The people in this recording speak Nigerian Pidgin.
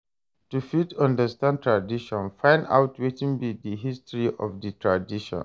To fit understand tradition find out wetin be di history of di tradition